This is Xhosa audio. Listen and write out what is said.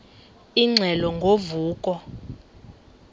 ingxelo ngo vuko